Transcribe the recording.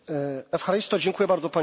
Dziękuję bardzo, panie pośle.